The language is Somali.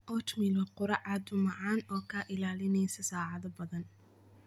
Oatmeal waa quraac aad u macaan oo kaa ilaalinaysa saacado badan.